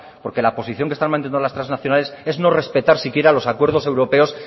porque la posición que están manteniendo las transnacionales es no respetar si quiera los acuerdos europeos